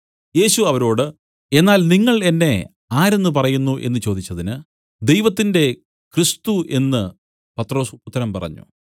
യേശു അവരോട് എന്നാൽ നിങ്ങൾ എന്നെ ആരെന്ന് പറയുന്നു എന്നു ചോദിച്ചതിന് ദൈവത്തിന്റെ ക്രിസ്തു എന്നു പത്രൊസ് ഉത്തരം പറഞ്ഞു